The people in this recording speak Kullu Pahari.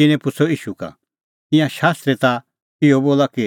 तिन्नैं पुछ़अ ईशू का कि ईंयां शास्त्री ता इहअ बोला कि